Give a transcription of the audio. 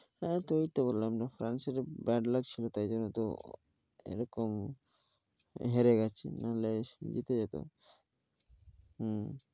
হ্যাঁ তো ওই তো বললাম যে ফ্রান্সেরও bad luck ছিল তাই জন্য তো এরকম হেরে গেছে না হলে জিতে যেত হম